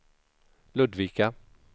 Ludvika